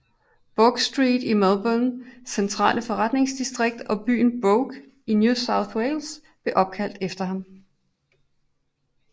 Bourke Street i Melbournes centrale forretningsdistrikt og byen Bourke i New South Wales blev opkaldt efter ham